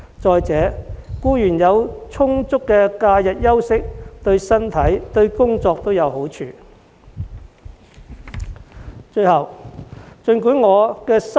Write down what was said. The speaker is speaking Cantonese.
再者，僱員有充足的假日休息，對身體和工作都有好處。